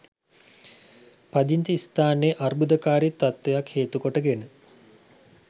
පදිංචි ස්ථානයේ අර්බුදකාරි තත්ත්වයක් හේතු කොටගෙන